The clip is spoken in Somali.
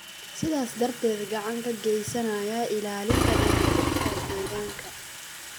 sidaas darteed gacan ka geysanaya ilaalinta dheelitirka deegaanka.